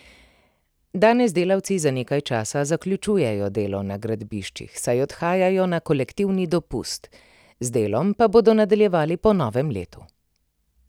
Danes delavci za nekaj časa zaključujejo delo na gradbiščih, saj odhajajo na kolektivni dopust, z delom pa bodo nadaljevali po novem letu.